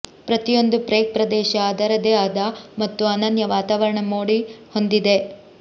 ಪ್ರತಿಯೊಂದು ಪ್ರೇಗ್ ಪ್ರದೇಶ ಅದರದೇ ಆದ ಮತ್ತು ಅನನ್ಯ ವಾತಾವರಣ ಮೋಡಿ ಹೊಂದಿದೆ